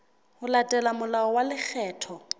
ho latela molao wa lekgetho